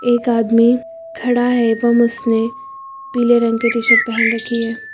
एक आदमी खड़ा है एवं उसने पीले रंग की टी शर्ट पहन रखी है।